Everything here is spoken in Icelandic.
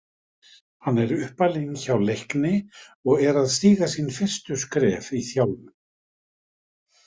Hann er uppalinn hjá Leikni og er að stíga sín fyrstu skref í þjálfun.